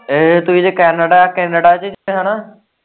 ਇਹ ਤੁਹੀਂ ਤੇ canada ਚ ਜਾਣਾ